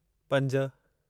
पंज